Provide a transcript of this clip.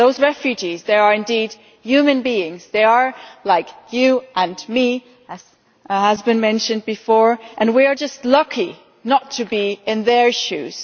Those refugees are indeed human beings, they are like you and me, as has been mentioned before, and we are just lucky not to be in their shoes.